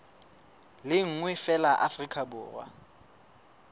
le nngwe feela afrika borwa